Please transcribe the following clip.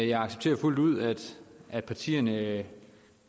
jeg accepterer fuldt ud at partierne